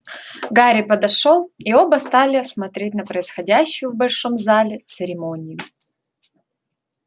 гарри подошёл и оба стали смотреть на происходящую в большом зале церемонию